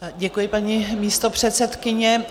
Děkuji, paní místopředsedkyně.